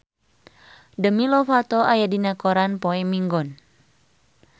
Demi Lovato aya dina koran poe Minggon